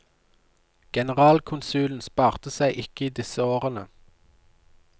Generalkonsulen sparte seg ikke i disse årene.